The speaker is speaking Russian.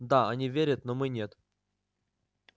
да они верят но мы нет